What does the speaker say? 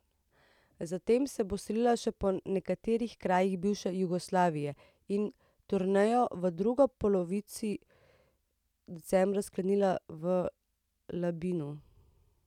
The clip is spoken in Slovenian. Zatem se bo selila še po nekaterih krajih bivše Jugoslavije in turnejo v drugi polovici decembra sklenila v Labinu.